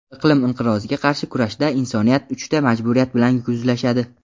iqlim inqiroziga qarshi kurashda insoniyat uchta majburiyat bilan yuzlashadi.